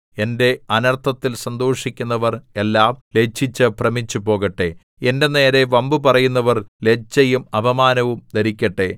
എന്റെ അനർത്ഥത്തിൽ സന്തോഷിക്കുന്നവർ എല്ലാം ലജ്ജിച്ചു ഭ്രമിച്ചുപോകട്ടെ എന്റെ നേരെ വമ്പുപറയുന്നവർ ലജ്ജയും അപമാനവും ധരിക്കട്ടെ